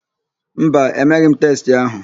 Mba, emeghị m testị ahụ.